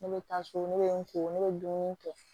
Ne bɛ taa so ne bɛ n ko ne bɛ dumuni kɛ